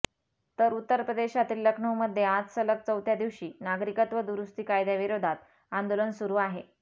तर उत्तर प्रदेशातील लखनऊमध्ये आज सलग चौथ्या दिवशी नागरिकत्व दुरुस्ती कायद्याविरोधात आंदोलन सुरू आहे